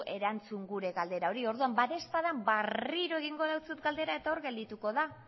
erantzun gura galdera hori orduan badaezpada berriro egingo dizut galdera eta hor geldituko da